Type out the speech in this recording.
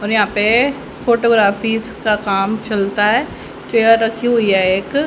और यहां पे फोटोग्राफी का काम चलता है चेयर रखी हुई हैं एक--